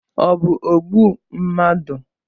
Ọ bụ ogbu mmadụ?